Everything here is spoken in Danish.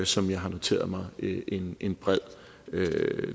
som jeg har noteret mig en en bred